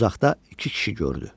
Uzaqda iki kişi gördü.